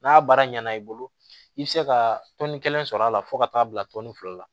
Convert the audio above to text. N'a baara ɲɛna i bolo i bi se ka tɔni kelen sɔrɔ a la fo ka taa bila tɔni fila la